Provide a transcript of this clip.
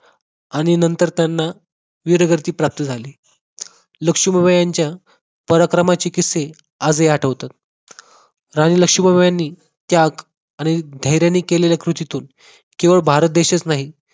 आणि नंतर त्यांना वीरगती प्राप्त झाली. लक्ष्मीबाई यांच्या परक्रमाची किस्से आज ही आठवतात. राणी लक्ष्मीबाई यांनी त्याग आणि धैर्याने केलेल्या कृतीतून केवळ भारत देशच नाही,